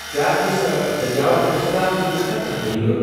کیٛاہ أمس دٔریاو بٔٹھس تام ننُک چھےٚ کانٛہہ طریقہٕ؟